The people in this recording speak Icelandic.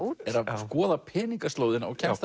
skoða peningaslóðina og kemst